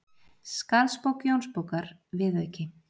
Skarðsbók Jónsbókar, viðauki